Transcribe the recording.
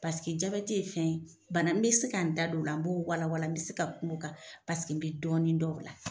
jabɛti ye fɛn ye bana n bɛ se ka n da don o la n b'o walwala n bɛ se ka kum'o kan paseke bɛ dɔɔnin dɔn o la.